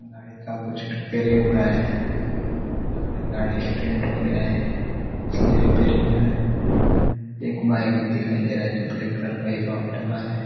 गाड़ी का कुछ रिपेरिंग हो रहा है। लग रहा है गाडी स्टैंड हो गया है। इसलिए रिपेरिंग हो रहा है। एक बाइक भी दिखाई दे रहा है जो ब्लैक कलर हीरोहौंडा का है।